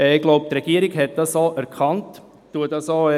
Ich glaube, die Regierung hat dies erkannt, und ich goutiere dies auch.